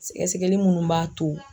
Sɛgɛsɛgɛli minnu b'a to